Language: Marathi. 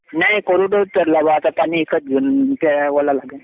नाही पेरला आता पाणी विकत घेऊन